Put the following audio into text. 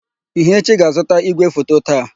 Ihechi ga-azụta ígwèfoto taa.